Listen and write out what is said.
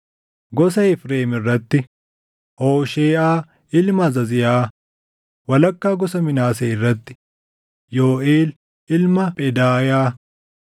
gosa Efreem irratti: Hoosheeʼaa ilma Azaziyaa; walakkaa gosa Minaasee irratti: Yooʼeel ilma Phedaayaa;